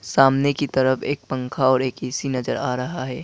सामने की तरफ एक पंखा और एक ए_सी नजर आ रहा है।